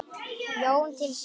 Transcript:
Jón til sín.